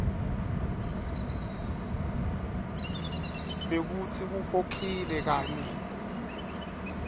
bekutsi ukhokhile kanye